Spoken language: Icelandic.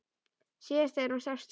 Síðast þegar sást til